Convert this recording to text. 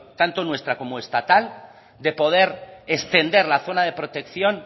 tanto nuestra como estatal de poder extender la zona de protección